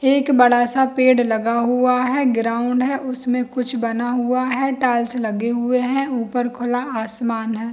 एक बड़ा-सा पेड़ लगा हुआ है ग्राउंड है उसमें कुछ बना हुआ है टाइल्स लगे हुए है ऊपर खुला आसमान है।